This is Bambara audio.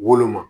Woloma